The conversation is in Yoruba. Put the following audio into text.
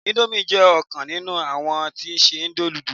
Indomie jé òkan nínú àwọn tí n se noodles